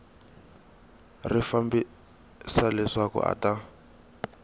ri fambisa leswaku a ta